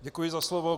Děkuji za slovo.